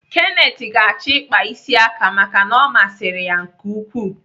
Kenneth ga-achọ ịkpa isi aka maka na ọ masịrị ya nke ukwuu.